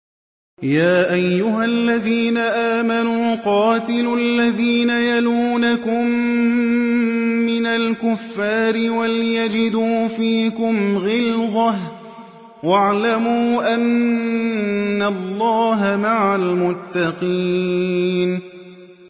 يَا أَيُّهَا الَّذِينَ آمَنُوا قَاتِلُوا الَّذِينَ يَلُونَكُم مِّنَ الْكُفَّارِ وَلْيَجِدُوا فِيكُمْ غِلْظَةً ۚ وَاعْلَمُوا أَنَّ اللَّهَ مَعَ الْمُتَّقِينَ